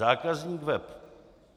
Zákazník web